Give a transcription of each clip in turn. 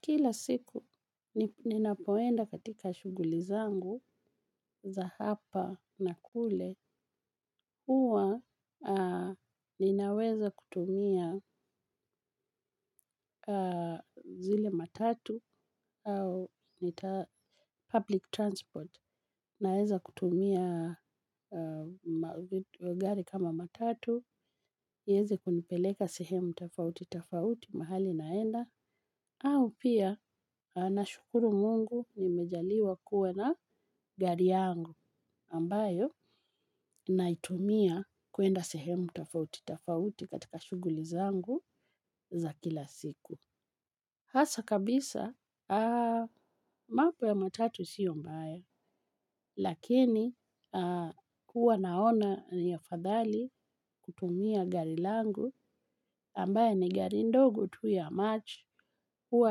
Kila siku, ninapoenda katika shughuli zangu za hapa na kule huwa ninaweza kutumia zile matatu au public transport. Naweza kutumia magari kama matatu, iweze kunipeleka sehemu tafauti, tafauti, mahali naenda. Au pia nashukuru Mungu nimejaliwa kuwe na gari yangu ambayo naitumia kuenda sehemu tafauti tafauti katika shughuli zangu za kila siku. Hasa kabisa, mambo ya matatu sio mbaya, lakini huwa naona ni afadhali kutumia gari langu ambaye ni gari ndogo tu ya march huwa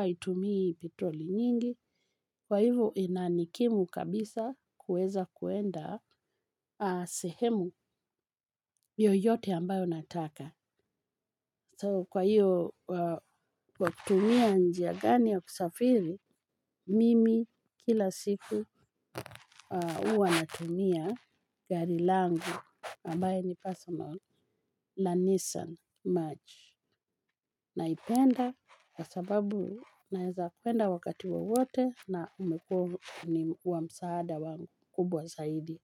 haitumii petroli nyingi, kwa hivyo inanikimu kabisa kuweza kuenda sehemu yoyote ambayo nataka. So kwa hiyo watumia njia gani ya kusafiri mimi kila siku uwa natumia gari langu ambaye ni personal la Nissan March. Naipenda kwa sababu naeza kwenda wakati wowote na umekuwa ni wamsaada wangu kubwa saidi.